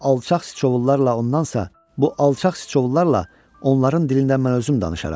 Bu alçaq siçovullarla ondansasa, bu alçaq siçovullarla onların dilindən mən özüm danışaram.